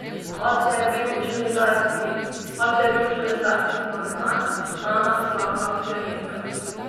Oče je bil železarski magnat, mama slavna pianistka.